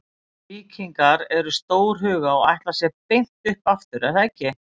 Víkingar eru stórhuga og ætla sér beint upp aftur er það ekki?